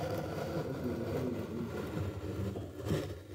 my course mates dey pay me money make i do homework for dem